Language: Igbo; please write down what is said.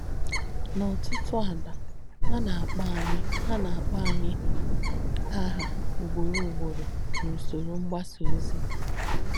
N’ótútú àlà, à nà-àkpọ̀ ànyì à nà-àkpọ̀ ànyì àhà úgbọ̀rọ̀ úgbọ̀rọ̀ n’ùsọ́rọ̀ mgbàsà ózì.